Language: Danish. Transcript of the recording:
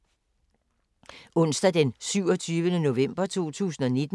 Onsdag d. 27. november 2019